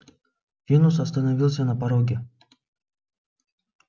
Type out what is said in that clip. венус остановился на пороге